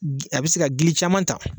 A bɛ se ka gili caman ta